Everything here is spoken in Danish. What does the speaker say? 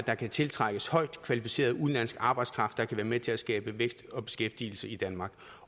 at der kan tiltrækkes højt kvalificeret udenlandsk arbejdskraft der kan være med til at skabe vækst og beskæftigelse i danmark